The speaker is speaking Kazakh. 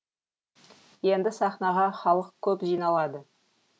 енді сахнаға халық көп жиналады